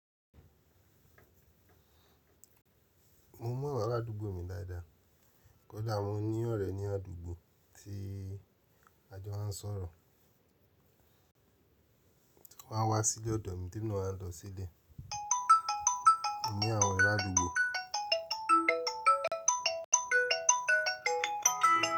Mo mọ àwọn aládùúgbò mi dáadáa, kódà mo ní ọ̀rẹ́ ní àdúgbò tí a jọ máa ń sọ̀rọ̀. Wọ́n á wá síle odo mi tí e mi wáa lọ sí ibe moní àwọn ore adugbo.